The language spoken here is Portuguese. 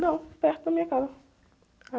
Não, perto da minha casa.